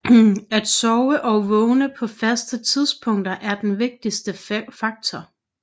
At sove og vågne på faste tidspunkter er den vigtigste faktor